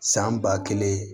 San ba kelen